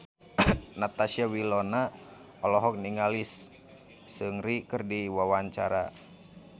Natasha Wilona olohok ningali Seungri keur diwawancara